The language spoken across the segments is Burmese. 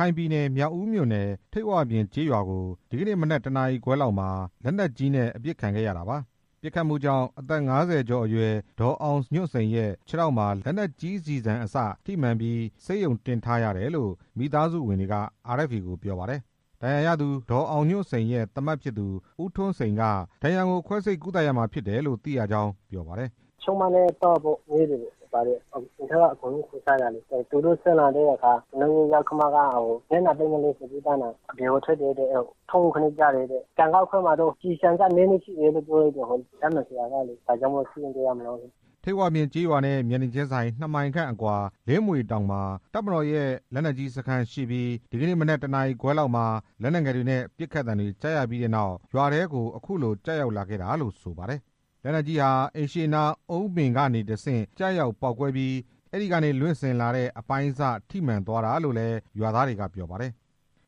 ခိုင်ပြည်နယ် မြောက်ဦးမြို့နယ် ထိပ်ဝပြင်ကျေးရွာကို ဒီနေ့မနက် ၁ နာရီခွဲလောက်မှာ လက်နက်ကြီးနဲ့ ပစ်ခတ်ခံရတာပါ။ ပစ်ခတ်မှုကြောင့် အသက် ၅၀ ကျော်အရွယ် ဒေါ်အောင်ညွန့်စိန်ရဲ့ခြေထောက်မှာ လက်နက်ကြီးအစ ထိမှန်ပြီး ဆေးရုံတင်ထားရတယ်လို့ မိသားစုဝင်တွေက RFA ကို ပြောပါတယ်။ ဒဏ်ရာရသူ ဒေါ်အောင်ညွန့်စိန်ရဲ့သားမက်ဖြစ်သူ ဦးထွန်းစိန်က ဒဏ်ရာကို ခွဲစိတ်ကုသရမှာဖြစ်တယ်လို့ သိရကြောင်း ပြောပါတယ်။ “ပစ်ခတ်သံတွေကြားရတော့ ချွေးမနဲ့သားကို အိမ်ပေါ်ကနေ ခေါ်ချတယ်။ သူတို့ဆင်းလာတော့ ကျွန်တော့် ယောက္ခမက မျက်နှာသစ်ဖို့အတွက် အပြင်ကိုထွက်တယ်။ အဲဒီအချိန်မှာ ခြေထောက်ကို လာမှန်တယ်။ အဲဒီဒဏ်ရာမှာ ကျည်ဆန်စနည်းနည်းရှိနေတယ်လို့ ဓာတ်မှန်ဆရာကပြောတယ်။ ဒါကြောင့်မို့ ဆေးရုံတင် ထားရတယ်” ထိပ်ဝပြင်ကျေးရွာနဲ့ မျက်နှာချင်းဆိုင် နှစ်မိုင်ခန့်အကွာ လင်းမြွေတောင်မှာ တပ်မတော်ရဲ့ လက်နက်ကြီးစခန်းရှိပြီး ဒီနေ့မနက် ၁ နာရီခွဲလောက်မှာ လက်နက်ငယ်တွေနဲ့ ပစ်ခတ်သံတွေကြားရပြီးနောက် ရွာထဲကို အခုလို ကျရောက်လာခဲ့တာလို့ဆိုပါတယ်။ လက်နက်ကြီးဟာ အိမ်ရှေ့နား အုန်းပင်ကနေတဆင့် ကျရောက်ပေါက်ကွဲပြီး အဲဒီကနေ လွင့်စဉ်လာတဲ့ အပိုင်းအစထိမှန်သွားတာလို့လည်း ရွာသားတွေက ပြောပါတယ်။ လူတွေက အကုန်လုံး ထိတ်လန့်နေကြရတယ်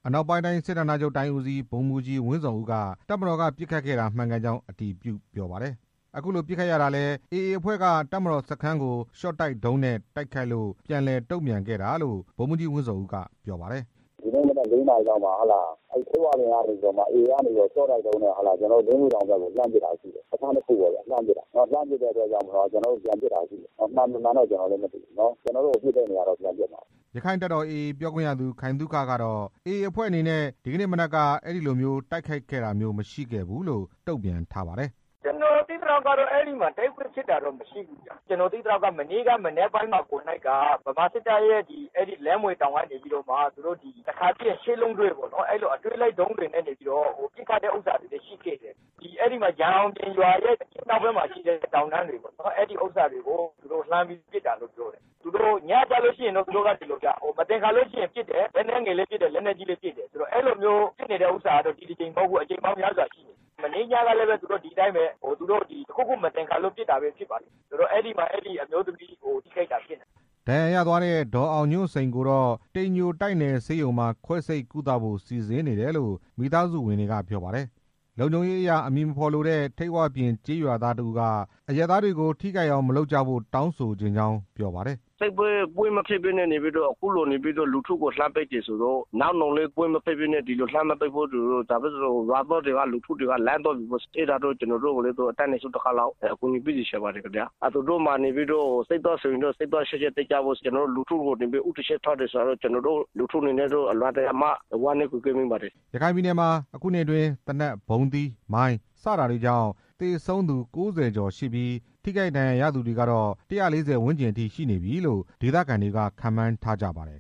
အနောက်ပိုင်းတိုင်းစစ်ဌာနချုပ်တိုင်းဦးစီး ဗိုလ်မှူးကြီး ဝင်းဇော်ဦးက တပ်မတော်က ပစ်ခတ်ခဲ့တာ မှန်ကန်ကြောင်း အတည်ပြုပါတယ်။ အခုလို ပစ်ခတ်ရတာကလည်း အေအေအဖွဲ့က တပ်မတော်စခန်းကို ရှော့တိုက်ဒုံးနဲ့ တိုက်ခတ်လို့ ပြန်လည် တုံ့ပြန်ခဲ့တာလို့ ဗိုလ်မှူးကြီးဝင်းဇော်ဦးက ပြောပါတယ်။ “ဒီနေ့မနက် ၄ နာရီလောက်မှာ ထိပ်ဝပြင်ကနေပြီးတော့မှ အေအေက ရှော့တိုက်ဒုံးနဲ့ ကျွန်တော်တို့ လင်းမြွေ တောင်ဘက်ကို လှမ်းပစ်တာရှိတယ်။ စခန်းတစ်ခုပေါ့ဗျာ လှမ်းပစ်တာ။ လှမ်းပစ်တဲ့အတွက်ကြောင့်မို့လို့ ကျွန်တော်တို့ပြန်ပစ်တာရှိတယ်။ မှန်မမှန်တော့ ကျွန်တော်လည်းမသိဘူး။ ကျွန်တော်တို့ကို ပစ်တဲ့နေရာကိုတော့ ကျွန်တော်တို့ပြန်ပစ်မှာပဲ” ရက္ခိုင့်တပ်တော် AA ရဲ့ပြောခွင့်ရသူ ခိုင်သုခကတော့ အေအေအဖွဲ့အနေနဲ့ ဒီနေ့မနက်က အဲဒီလိုမျိုး တိုက်ခိုက်တာ မရှိဘူးလို့ တုံ့ပြန်ပါတယ်။AA ပြောခွင့်ရသူ ခိုင်သုခ “ကျွန်တော်သိသလောက်ကတော့ အဲဒီမှာတိုက်ပွဲဖြစ်တာမရှိဘူးဗျ။ ကျွန်တော်သိသလောက်ဆိုရင် မနေ့က မနက် ပိုင်းမှာ ဗမာစစ်တပ် ရှိတဲ့ လင်းမြွေတောင်ကနေပြီးတော့မှ တစ်ခါပစ်ရင် ရှစ်လုံးတွဲ ပေါ့နော်။ အဲလိုအတွဲလိုက် ဒုံးတွေနဲ့ နေပြီးတော့ ပစ်ခတ်တဲ့ဥစ္စာတွေ လည်းရှိခဲ့တယ်။ ရန်အောင်ပြင်ရွာရဲ့ အရှေ့မြောက်ဘက်မှာရှိတဲ့ တောင်တန်းတွေကို သူတို့ပစ်တာလို့သိရတယ်။ သူတို့ကဒီလိုဗျ ညကျလို့ရှိရင် သူတို့မသင်္ကာလို့ရှိရင်ပစ်တယ်။ လက်နက်ငယ်လည်း ပစ်တယ်၊ လက်နက်ကြီးလည်းပစ်တယ်။ အဲလိုမျိုးပစ်နေတဲ့ ဥစ္စာကတော့ ဒီတစ်ကြိမ် မဟုတ်ဘူး၊ အကြိမ်ပေါင်းများစွာရှိနေပြီ။ မနေ့ညကလည်း ဒီအတိုင်းပဲ သူတို့တစ်ခုခုမသင်္ကာလို့ ပစ်တာ ဖြစ်လိမ့်မယ်။ အဲဒါကြောင့် အဲဒီအမျိုးသမီးထိခိုက်တာဖြစ်နိုင်တယ်” ဒဏ်ရာရသွားတဲ့ ဒေါ်အောင်ညွန့်စိန်ကိုတော့ တိမ်ညိုတိုက်နယ်ဆေးရုံမှာ ခွဲစိပ်ကုသဖို့ စီစဉ်နေတယ်လို့ မိသားစုဝင်တွေကပြောပါတယ်။ လုံခြုံရေးအရ အမည်မဖော်လိုတဲ့ ထိပ်ဝပြင်ကျေးရွာသားတစ်ဦးက အရပ်သားတွေကို ထိခိုက်အောင် မလုပ်ကြဖို့ တောင်းဆိုချင်ကြောင်းပြောပါတယ်။ “တိုက်ပွဲမရှိဘဲနဲ့လူထုကို အခုလိုမျိုးလှမ်းပစ်တယ်ဆိုတော့ နောက်နောင်မှာလည်း ဒီလိုတိုက်ပွဲမရှိဘဲ လှမ်းမပစ်စေချင်ပါဘူး။ ဘာဖြစ်လို့လဲဆိုတော့ လူတွေက အကုန်လုံးထိတ်လန့်နေကြရတယ်။ ဒါလေးကိုတော့ အတတ်နိုင်ဆုံး ကူညီပေးစေချင်ပါတယ်။ သူတို့မှာတော့ စစ်သားအချင်းချင်းတိုက်ကြပေါ့။ ကျွန်တော်တို့လူထုကို ဦးတည်ချက်ထားတယ်ဆိုတော့ ကျွန်တော်တို့လူထုအနေနဲ့ အလွန်တရာမှ စိတ်မကောင်းဖြစ်ရပါတယ်” ရခိုင်ပြည်နယ်မှာ အခုနှစ်အတွင်း သေနတ်၊ ဗုံးသီး၊ မိုင်း စတာတွေကြောင့် သေဆုံးသူ ၉၀ ကျော်ရှိပြီး ထိခိုက်ဒဏ်ရာရသူတွေကတော့ ၁၄၀ ဝန်းကျင်အထိရှိနေပြီလို့ ဒေသခံတွေက ခန့်မှန်းထားကြပါတယ်